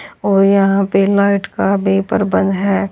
और यहां पे लाइट का बेपर बंद है।